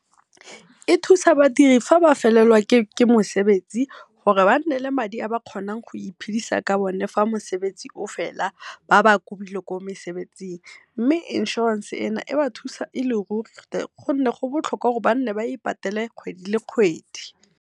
E thusa badiri fa ba felelwa ke mosebetsi gore ba nne le madi a ba kgonang go iphidisa ka one fa mosebetsi o fela ba ba kubile ko mosebetsing, mme inshorense eno e ba thusa e le ruri gonne go botlhokwa gore ba ipatele kgwedi le kgwedi.